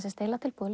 eiginlega tilbúið